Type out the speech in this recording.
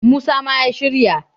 musa ma ya shirya!